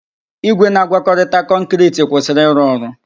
Igwe na-agwakọta kọnkịriti kwụsịrị ịrụ ọrụ.